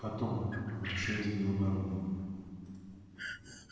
потом обращаясь к белобородову